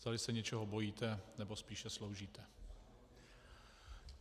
Zdali se něčeho bojíte, nebo spíše sloužíte.